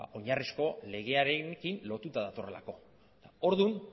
oinarrizko legearekin lotuta datorrelako orduan